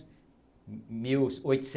mil e oitocentos